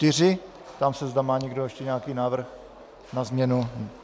Ptám se, zda má někdo ještě nějaký návrh na změnu.